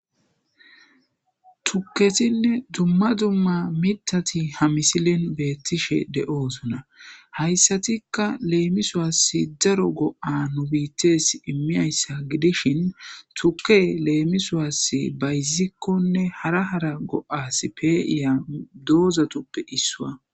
tukketinne dumma dumma mitati hamisilen beettishe de7oosona hayssatikka leemi suwasse daro go7a nubittes immiyayssa gidishin tuke leemisuwaasse bayzikkonne hara hara go7as peeiya doozatuppe issua